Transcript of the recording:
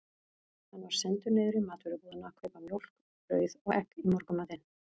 Hann var sendur niður í matvörubúðina að kaupa mjólk, brauð og egg í morgunmatinn.